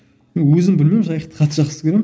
мен өзім білмеймін жайықты қатты жақсы көремін